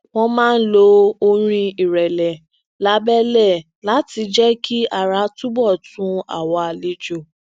wón máa ń lo orin irẹlẹ labẹlẹ láti jẹ kí ara tunbọ tu àwọn àlejò